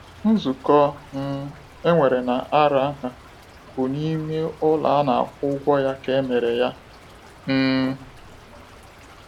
Nzukọ um enwere na Aranha bụ n'ime ụlọ ana akwụ ụgwọ ya ka emere ya. um